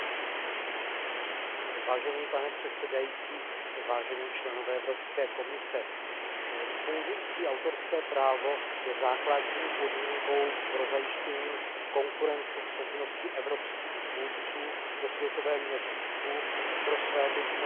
Pane předsedající, vážení členové Evropské komise, fungující autorské právo je základní podmínkou pro zajištění konkurenceschopnosti evropských tvůrců ve světovém měřítku, pro svébytnost evropské kultury.